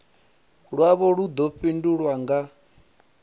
lwavho lu ḓo fhindulwa nga